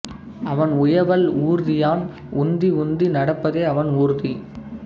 அவன் உயவல் ஊர்தியான் உந்தி உந்தி நடப்பதே அவன் ஊர்தி